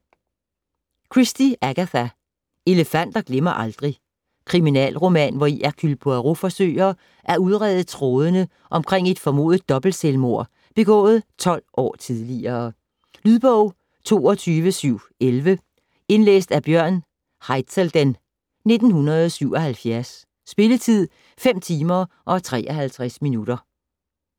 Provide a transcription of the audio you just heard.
Christie, Agatha: Elefanter glemmer aldrig Kriminalroman, hvori Hercule Poirot forsøger at udrede trådene omkring et formodet dobbeltselvmord begået 12 år tidligere. Lydbog 22711 Indlæst af Bjørn Haizelden, 1977. Spilletid: 5 timer, 53 minutter.